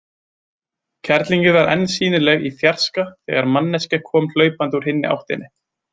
Kerlingin var enn sýnileg í fjarska þegar manneskja kom hlaupandi úr hinni áttinni.